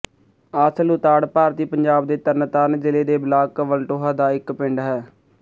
ਆਸਲ ਉਤਾੜ ਭਾਰਤੀ ਪੰਜਾਬ ਦੇ ਤਰਨਤਾਰਨ ਜ਼ਿਲ੍ਹੇ ਦੇ ਬਲਾਕ ਵਲਟੋਹਾ ਦਾ ਇੱਕ ਪਿੰਡ ਹੈ